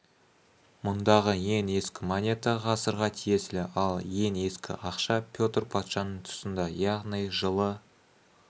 мұндағы ең ескі монета ғасырға тиесілі ал ең ескі ақша петр патшаның тұсында яғни жылы